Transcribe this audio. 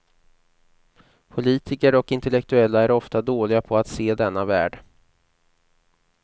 Politiker och intellektuella är ofta dåliga på att se denna värld.